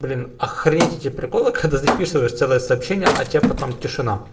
блин охренеть эти приколы когда записываешь целое сообщение а те потом тишина